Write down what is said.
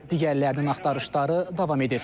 Digərlərinin axtarışları davam edir.